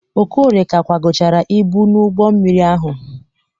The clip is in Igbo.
Okorie ka kwagochara ibu n'ụgbọ mmiri ahụ.